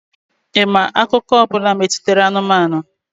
Ị ma akụkọ ọ bụla metụtara anụmanụ?